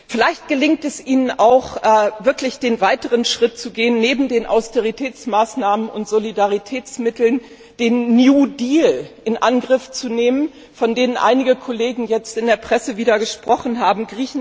Vielleicht gelingt es Ihnen auch, wirklich den weiteren Schritt zu gehen und neben den Austeritätsmaßnahmen und Solidaritätsmitteln den New Deal in Angriff zu nehmen, von dem einige Kollegen jetzt in der Presse wieder gesprochen haben.